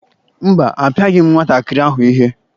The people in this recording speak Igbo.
Mba, apịaghị m nwatakịrị ahụ ihe.